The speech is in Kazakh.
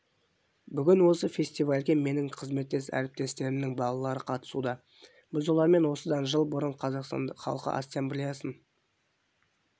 бүгін осы фестивальге менің қызметтес әріптестерімнің балалары қатысуда біз олармен осыдан жыл бұрын қазақстан халқы ассамблеясын